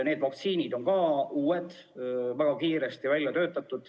Need vaktsiinid on uued, väga kiiresti välja töötatud.